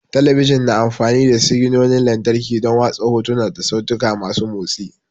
Talabijin na amfani da siginonin lantarki don watsa hotuna da sautika masu motsi.